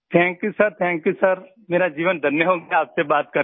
thank you sir thank you sir मेरा जीवन धन्य हो गया आपसे बात करके